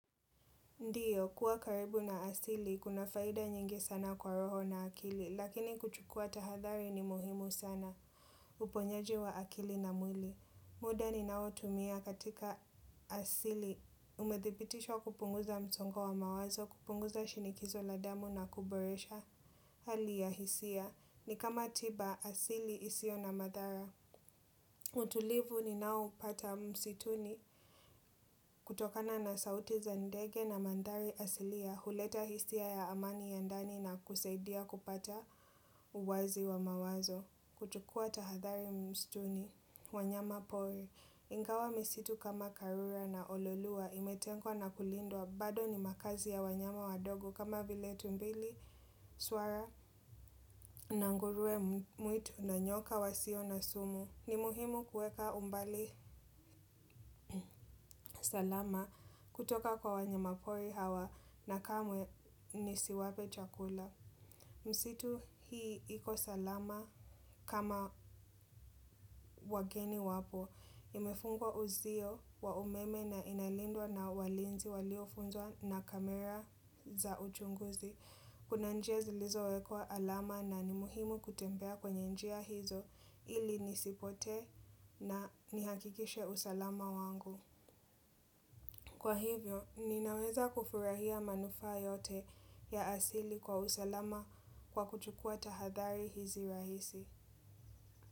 Ndio, kuwa karibu na asili, kuna faida nyingi sana kwa roho na akili, lakini kuchukua tahadhari ni muhimu sana, uponyaji wa akili na mwili. Muda ni nao tumia katika asili, umedhibitishwa kupunguza msongo wa mawazo, kupunguza shinikizo la damu na kuboresha hali ya hisia. Ni kama tiba, asili isio na madhara. Utulivu ni naoupata msituni kutokana na sauti za ndege na mandhari asilia. Huleta hisia ya amani ya ndani na kusaidia kupata uwazi wa mawazo. Kuchukua tahathari msituni wanyama pori. Ingawa misitu kama karura na ololua imetengwa na kulindwa bado ni makazi ya wanyama wadogo kama vile tumbili swara. Na nguruwe mwitu na nyoka wasio na sumu. Ni muhimu kuweka umbali salama kutoka kwa wanyamapori hawa na kamwe nisiwape chakula. Msitu hii iko salama kama wageni wapo. Imefungwa uzio wa umeme na inalindwa na walinzi waliofunzwa na kamera za uchunguzi. Kuna njia zilizowekwa alama na ni muhimu kutembea kwenye njia hizo ili nisipotee na nihakikishe usalama wangu. Kwa hivyo, ninaweza kufurahia manufaa yote ya asili kwa usalama kwa kuchukua tahadhari hizi rahisi.